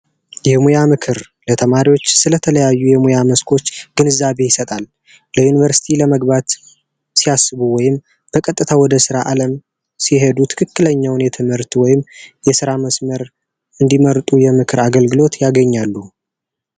የሙያ ምክር ለተማሪዎች ስለተለያዩ የሙያ መስክ ግንዛቤ መፍጠር ያስፈልጋል። ዩኒቨርስቲ ለመግባት ሲያስቡ ወይም በቀጥታ ወደ ስራዉ አለም የሄዱ ትክክለኛውን እንዲመርጡ የሙያ ምክር ያገኛሉ።